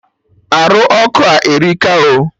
Arụ ọkụ a erika o